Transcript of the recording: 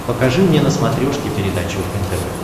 покажи мне на смотрешке передачу нтв